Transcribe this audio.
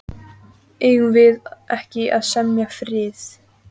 Eigum við ekki að semja frið.